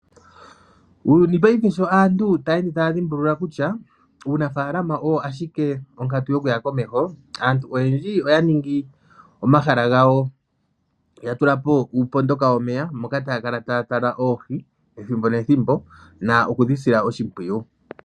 Uuyuni paife sho aantu taye ende taya dhimbulula kutya uunafalama oyo ashike onkatu yokuya komeho. Aantu oyendji oya ningi omahala gawo ya tulapo uupondoka womeya moka taya kala taya tala oohi ethimbo nethimbo na okudhi sila oshimpwiyu.